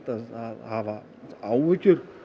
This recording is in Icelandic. að hafa áhyggjur